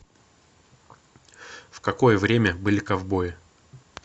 в какое время были ковбои